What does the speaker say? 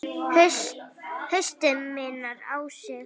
Haustið minnir á sig.